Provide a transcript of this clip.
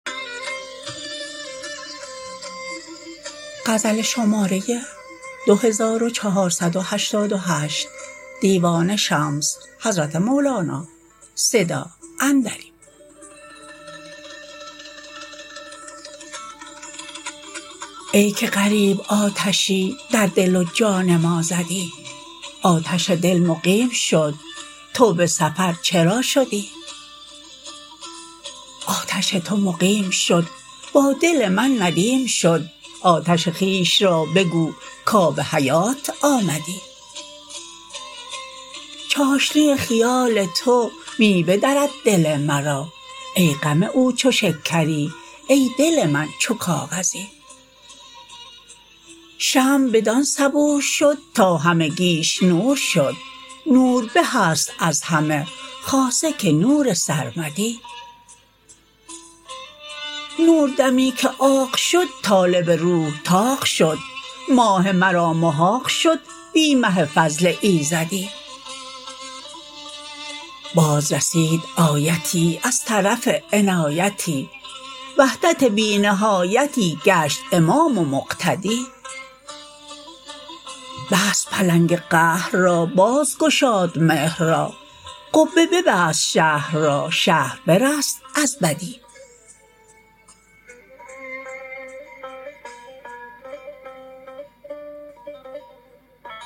ای که غریب آتشی در دل و جان ما زدی آتش دل مقیم شد تو به سفر چرا شدی آتش تو مقیم شد با دل من ندیم شد آتش خویش را بگو کآب حیات آمدی چاشنی خیال تو می بدرد دل مرا ای غم او چو شکری ای دل من چو کاغذی شمع بدان صبور شد تا همگیش نور شد نور به است از همه خاصه که نور سرمدی نور دمی که عاق شد طالب روح طاق شد ماه مرا محاق شد بی مه فضل ایزدی بازرسید آیتی از طرف عنایتی وحدت بی نهایتی گشت امام و مقتدی بست پلنگ قهر را بازگشاد مهر را قبه ببست شهر را شهر برست از بدی